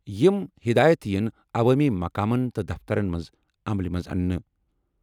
یِم ہِدایَت یِن عوٲمی مقامَن تہٕ دفترن منٛز عملہِ منٛز اَننہٕ۔